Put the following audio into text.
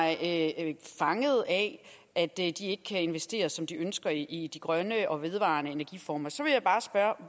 af at at de ikke kan investere som de ønsker i de grønne og vedvarende energiformer så vil jeg bare spørge